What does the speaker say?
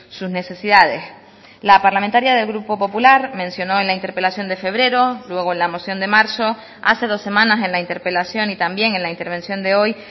sus necesidades la parlamentaria del grupo popular mencionó en la interpelación de febrero luego en la moción de marzo hace dos semanas en la interpelación y también en la intervención de hoy